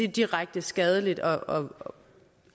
direkte skadeligt og